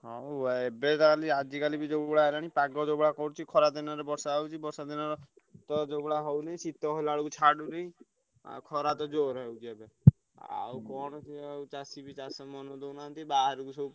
ହଁ ଉ ଆ ଏବେ ତ ଖାଲି ଆଜିକାଲି ବି ଯୋଉଭଳିଆ ହେଲାଣି ପାଗ ଯୋଉଭଳିଆ କରୁଚି ଖରା ଦିନରେ ବର୍ଷା ହଉଛି ବର୍ଷା ଦିନରେ ତ ଯୋଉଭଳିଆ ହଉନି, ଶୀତ ହେଲାବେଳକୁ ଛାଡ଼ୁନି। ଆଉ ଖରା ତ ଜୋରେ ହଉଛି ଏବେ। ଆଉ କଣ କିଏ ଆଉ ଚାଷୀ ବି ଚାଷ ମନ ଦଉନାହନ୍ତି। ବାହାରକୁ ସବୁ।